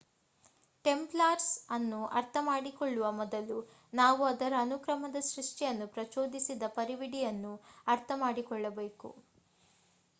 Templars ಅನ್ನು ಅರ್ಥ ಮಾಡಿಕೊಳ್ಳುವ ಮೊದಲು ನಾವು ಅದರ ಅನುಕ್ರಮದ ಸೃಷ್ಠಿಯನ್ನು ಪ್ರಚೋದಿಸಿದ ಪರಿವಿಡಿಯನ್ನು ಅರ್ಥ ಮಾಡಿಕೊಳ್ಳಬೇಕು